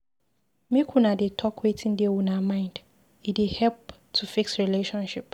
Make una dey talk wetin dey una mind, e dey help to fix relationship.